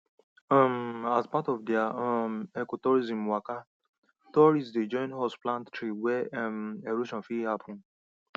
um as part of their um ecotourism waka tourists dey join us plant trees where um erosion fit happen